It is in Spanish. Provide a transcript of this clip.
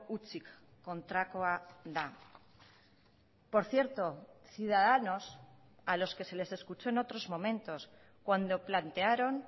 hutsik kontrakoa da por cierto ciudadanos a los que se les escuchó en otros momentos cuando plantearon